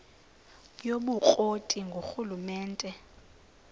yobukro ti ngurhulumente